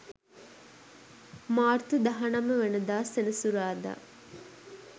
මාර්තු 19 වන දා සෙනසුරාදා